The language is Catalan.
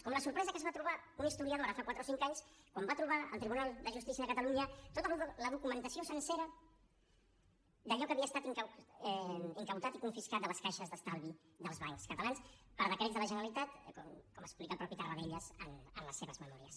com la sorpresa que es va trobar un historiador ara fa quatre o cinc anys quan va trobar al tribunal de justícia de catalunya tota la documentació sencera d’allò que havia estat confiscat de les caixes d’estalvi i dels bancs catalans per decrets de la generalitat com explica el mateix tarradellas en les seves memòries